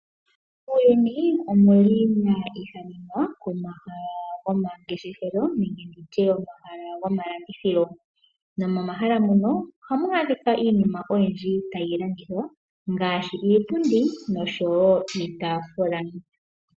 Muuyuni omu na omahala gomangeshefelo nenge omahala gomalandithilo. Momahala muka ohamu adhika iinima oyindji tayi landithwa ngaashi iipundi noshowo iitaafula.